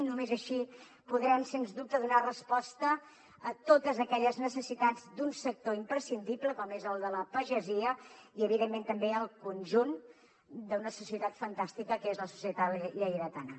només així podrem sens dubte donar resposta a totes aquelles necessitats d’un sector imprescindible com és el de la pagesia i evidentment també al conjunt d’una societat fantàstica que és la societat lleidatana